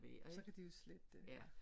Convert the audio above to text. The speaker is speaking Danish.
Og så kan de jo slette det